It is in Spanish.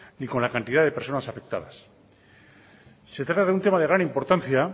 ni con la cantidad de personas afectadas se trata de un tema de gran importancia